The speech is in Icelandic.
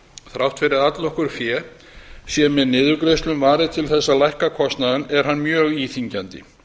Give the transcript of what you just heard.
þrátt fyrir að allnokkru fé sé með niðurgreiðslum varið til þess að lækka kostnaðinn er hann mjög íþyngjandi